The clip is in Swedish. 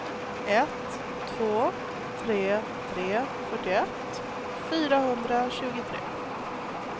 ett två tre tre fyrtioett fyrahundratjugotre